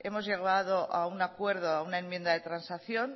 hemos llegado a un acuerdo a una enmienda de transacción